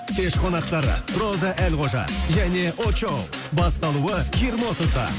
кеш қонақтары роза әлқожа және очоу басталуы жиырма отызда